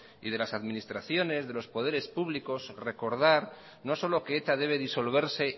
y de las administraciones de los poderes públicos recordar no solo que eta debe disolverse